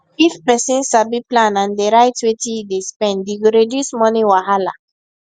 if person sabi plan and dey write wetin e dey spend e go reduce money wahala